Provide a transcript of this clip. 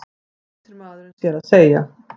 flýtir maðurinn sér að segja.